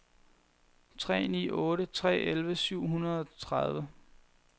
tre ni otte tre elleve syv hundrede og tredive